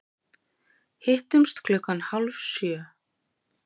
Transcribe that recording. Hittumst klukkan hálf sjö.